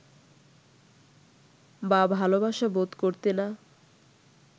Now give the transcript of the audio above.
বা ভালোবাসা বোধ করতে না